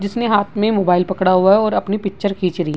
जिसने हाथ में मोबाइल पकड़ा हुआ है और अपनी पिक्चर खींच री --